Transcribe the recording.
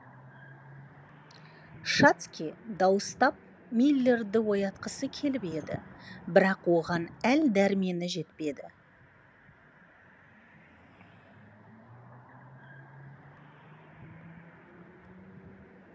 шацкий дауыстап миллерді оятқысы келіп еді бірақ оған әл дәрмені жетпеді